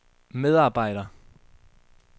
medarbejder